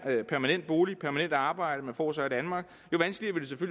permanent bolig og permanent arbejde man får også i danmark